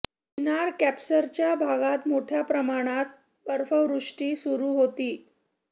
चिनार कॉर्प्सच्या भागात मोठय़ा प्रमाणात बर्फवृष्टी सुरू होती